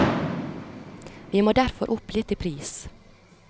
Vi må derfor opp litt i pris.